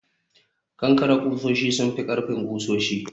kankare kusoshi sun fi ƙarfin kusoshi